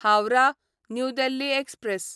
Howrah new Delhi express